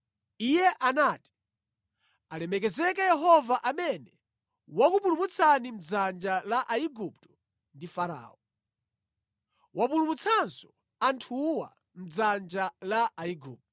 Iye anati, “Alemekezeke Yehova amene wakupulumutsani mʼdzanja la Aigupto ndi Farao. Wapulumutsanso anthuwa mʼdzanja la Aigupto.